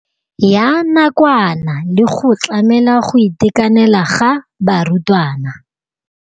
Ya nakwana le go tlamela go itekanela ga barutwana.